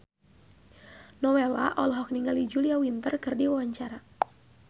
Nowela olohok ningali Julia Winter keur diwawancara